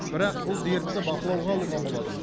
бірақ бұл дертті бақылауға алуға болады